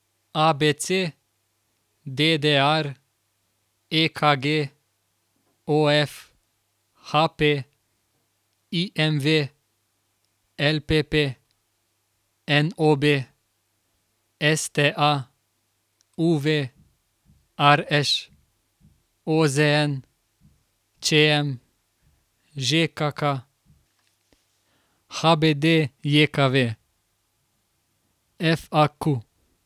A B C; D D R; E K G; O F; H P; I M V; L P P; N O B; S T A; U V; R Š; O Z N; Č M; Ž K K; H B D J K V; F A Q.